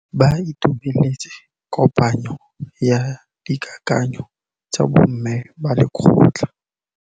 Ba itumeletse kôpanyo ya dikakanyô tsa bo mme ba lekgotla.